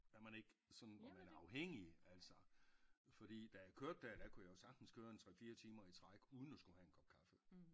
Når man ikke sådan og man er afhængig altså fordi da jeg kørte dér der kunne jeg jo sagtens køre en 3 4 timer i træk uden at skulle have en kop kaffe